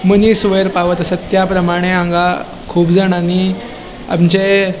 मनिस वयर पावत आसा त्या परमाने हांगा कुब जाणांनी आमचे --